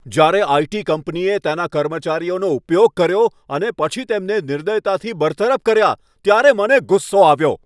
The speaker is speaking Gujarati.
જ્યારે આઇ.ટી. કંપનીએ તેના કર્મચારીઓનો ઉપયોગ કર્યો અને પછી તેમને નિર્દયતાથી બરતરફ કર્યા, ત્યારે મને ગુસ્સો આવ્યો.